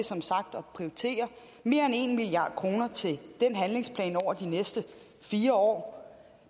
at prioritere mere end en milliard kroner til den handlingsplan over de næste fire år